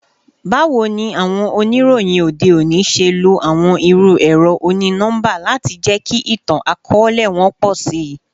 Bawo ni awọn oniroyin ode oni ṣe lo awọn iru ẹrọ oni-nọmba lati jẹki itan-akọọlẹ wọn pọ si?